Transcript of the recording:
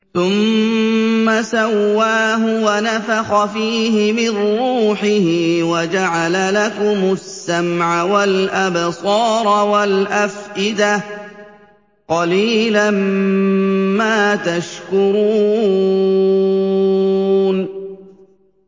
ثُمَّ سَوَّاهُ وَنَفَخَ فِيهِ مِن رُّوحِهِ ۖ وَجَعَلَ لَكُمُ السَّمْعَ وَالْأَبْصَارَ وَالْأَفْئِدَةَ ۚ قَلِيلًا مَّا تَشْكُرُونَ